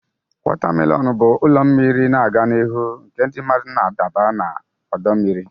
Waterslide bụ ụlọ mmiri na-aga n'ihu nke ndị mmadụ na-adaba n'ime ọdọ mmiri.